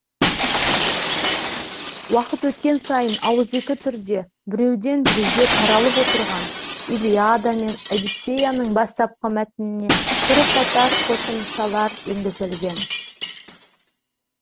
уақыт өткен сайын ауызекі түрде біреуден біреуге таралып отырған илиада мен одиссеяның бастапқы мәтініне бірқатар қосымшалар енгізілген